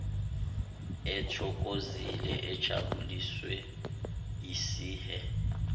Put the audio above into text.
ethokozile ejabuliswe yisihe